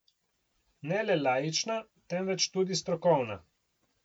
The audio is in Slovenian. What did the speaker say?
Ne le laična, temveč tudi strokovna.